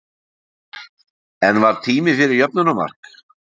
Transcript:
En var tími fyrir jöfnunarmark?